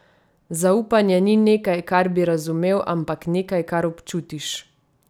Zaupanje ni nekaj, kar bi razumel, ampak nekaj, kar občutiš.